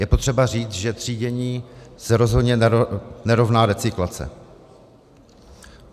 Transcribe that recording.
Je potřeba říct, že třídění se rozhodně nerovná recyklace.